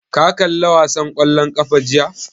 Ka kalla wasan ƙwallon ƙafa jiya?